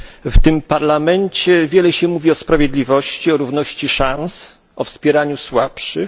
W tym Parlamencie wiele się mówi o sprawiedliwości, o równości szans, o wspieraniu słabszych.